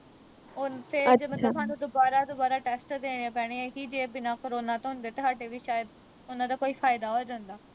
ਫਿਰ ਮਤਲਬ ਹਾਨੂੰ ਦੁਬਾਰਾ ਦੁਬਾਰਾ test ਦੇਣੇ ਪੈਣੇ ਕਿ ਜੇ ਬਿਨ੍ਹਾਂ corona ਤੋਂ ਹੁੰਦੇ ਤਾਂ ਹਾਡੇ ਵੀ ਸ਼ਾਇਦ ਉਨ੍ਹਾਂ ਦਾ ਕੋਈ ਫਾਇਦਾ ਹੋ ਜਾਂਦਾ